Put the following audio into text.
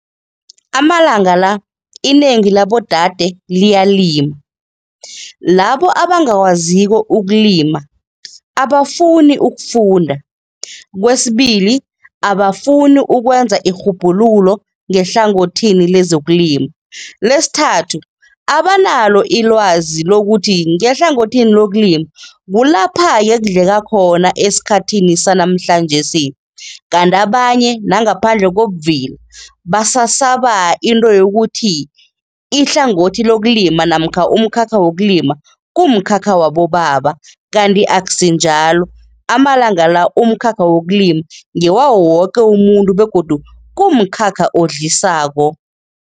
Amalanga la inengi labodade liyalima, labo abangakwaziko ukulima abafuni ukufunda. Kwesibili, abafuni ukwenza irhubhululo ngehlangothini lezokulima. Lesithathu, abanalo ilwazi lokuthi ngehlangothini lokulima kulapha-ke kudleka khona esikhathini sanamhlanjesi. Kanti abanye nangaphandle kobuvila, basasaba into yokuthi ihlangothi lokulima namkha umkhakha wokulima kumkhakha wabobaba kanti akusinjalo. Amalanga la umkhakha wokulima ngewawo woke umuntu begodu kumkhakha odlisako.